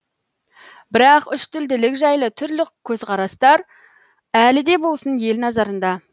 бірақ үштілділік жайлы түрлі көзқарастар әлі де болсын ел назарында